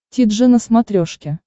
ти джи на смотрешке